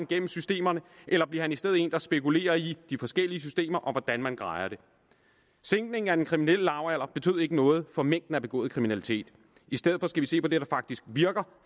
gennem systemerne eller bliver han i stedet en der spekulerer i de forskellige systemer og hvordan man grejer dem sænkningen af den kriminelle lavalder betød ikke noget for mængden af begået kriminalitet i stedet for skal vi se på det der faktisk virker